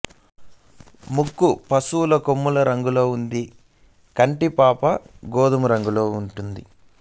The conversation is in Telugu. ముక్కు పశువుల కొమ్ముల రంగులో ఉండి కంటి పాప గోధుమ రంగులో ఉంటుంది